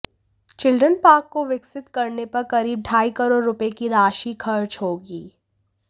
children park को विकसित करने पर करीब ढाई करोड़ रुपये की राशि खर्च होगी